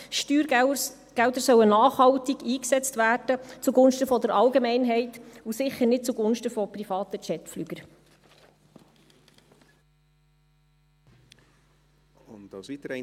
Steuergelder sollen zugunsten der Allgemeinheit nachhaltig eingesetzt werden und sicher nicht zugunsten von privaten Jetflugzeugen.